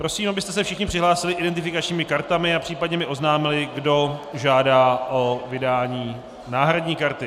Prosím, abyste se všichni přihlásili identifikačními kartami a případně mi oznámili, kdo žádá o vydání náhradní karty.